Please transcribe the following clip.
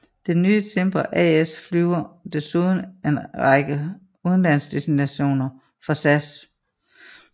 Det nye Cimber AS flyver desuden en række udenlandsdestinationer for SAS